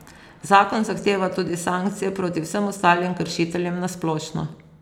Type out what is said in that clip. Zakon zahteva tudi sankcije proti vsem ostalim kršiteljem na splošno.